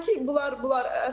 Amma ki, bunlar bunlar.